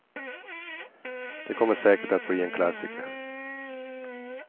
Det kommer säkert att bli en klassiker.